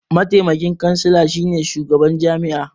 Mataimaki kansila shine shugaban jami'a.